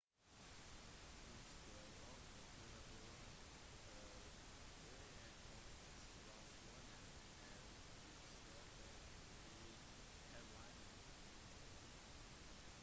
fisk dør ofte på grunn av høye konsentrasjoner av giftstoffer i hav-vannet